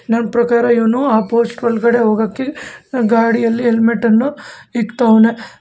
ನನ್ ಪ್ರಕಾರ ಇವನು ಆ ಪೋಸ್ಟ್ ಒಳಗಡೆ ಹೋಗೋಕೆ ಗಾಡಿಯಲ್ಲಿ ಹೆಲ್ಮೆಟ್ ಅನ್ನು ಇಕ್ತಾವ್ನೆ.